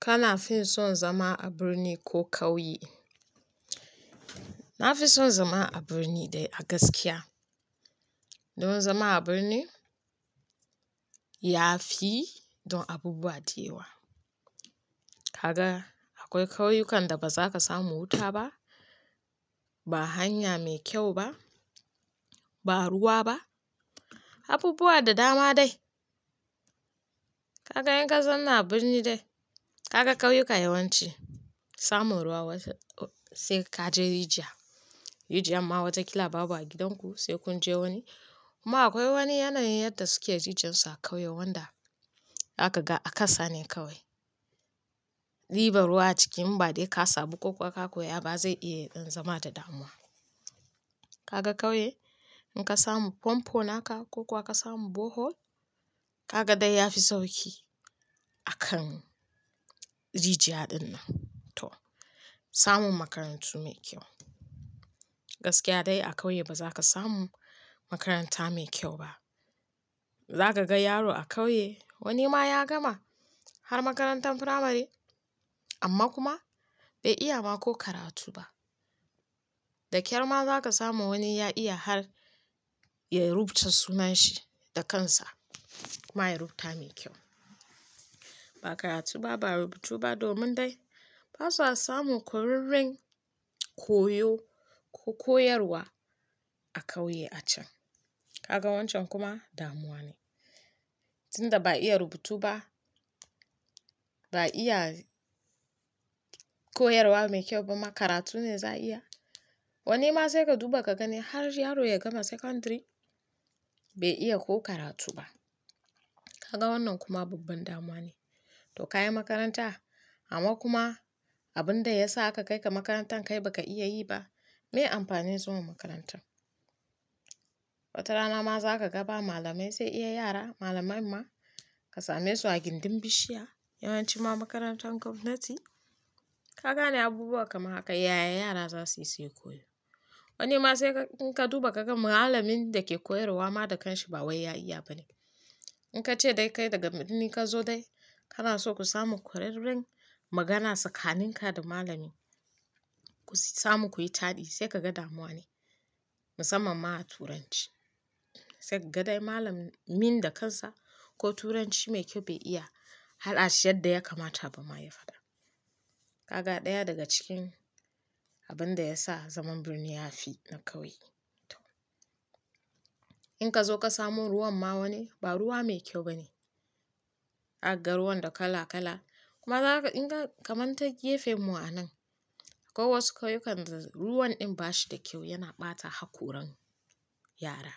Kana fin son zama a birni ko kauye? Na fi son zama a birni dai a gaskiya. Don zama a birni ya fi don abubuwa da yawa. Kaga akwai kauyukan da ba za ka samu wuta ba, ba hanya mai kyau ba, ba ruwa ba, abubuwa da dama dai. Kaga in ka zauna a birni dai, ka ga kauyuka yawanci samu ruwa sai kaje rijiya. Rijiyan ma wataƙila babu a gidanku sai kunje wani. Kuma akwai wani yanayin yadda suke rijiyansu a kauye wanda zaka ga a kasa ne kawai. Ɗiban ruwa a cikin inba dai kasamu, ka koya ba zai iya zama da damuwa. Kaga kauye in ka samu fanpo naka ko kuwa ka samu bohol, kaga dai ya fi sauƙi akan rijiya dinnan. To, samun makarantu mai kyau. Gaskiya dai a kauye ba zaka samu makaranta mai kyau ba. Zaka ga yaro a kauye wani ma ya gama har makarantar firamare amma kuma bai iya ma ko karatu ba. Da ƙyar ma zaka samu wani ya iya har ya rubuta sunan shi da kansa kuma ya rubuta mai kyau. Ba karatu ba, ba rubutu ba domin dai basa samun ƙwararren koyo ko koyarwa a kauye a can. Kaga wancan kuma damuwa ne. Tinda ba iya rubutu ba, ba iya koyarwa mai kyau ba ma karatu ne za iya. Wani ma sai ka duba ka gani har yaro ya gama secondary bai iya ko karatu ba. Kaga wannan kuma babban damuwa ne. To ka yi makaranta amma kuma abinda yasa aka kai ka makarantar kai ba ka iya yiba, me amfanin zuwa makarantar? Wata rana ma zaka ga ba malamai sai iya yara malamai ma ka same su a gindin bishiya yawanci ma makarantar gwamnati. Ka gane abubuwa kamar haka yaya yara zasu iya koyo. Wani ma sai in ka duba kaga malamin da ke koyarwa ma da kanshi ba wai ya iya bane. In kace dai kai daga birni ka zo dai kana so ku samu ƙwararren magana tsakanin ka da malami ku samu kuyi taɗi sai kaga damuwa ne musamman ma a turanci. Sai kaga dai malamin da kansa ko turanci mai kyau bai iya haɗa shi yadda yakamata ba ma ya faɗa. Kaga ɗaya daga cikin abinda ya sa zaman birni ya fi na kauye. To, in kazo ka samu ruwan ma wani ba ruwa mai kyau ba ne. Zakaga ruwan da kala-kala kuma za ka in ka kamanta gefen mu a nan akwai wasu kauyukan da ruwan ɗin ba shi da kyau yana ɓata hakoran yara.